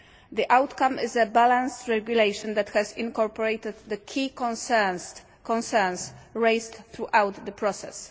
The outcome is a balanced regulation that has incorporated the key concerns raised throughout the process.